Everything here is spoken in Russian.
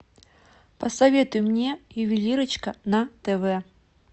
посоветуй мне ювелирочка на тв